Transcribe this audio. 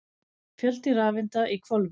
Fjöldi rafeinda í hvolfi.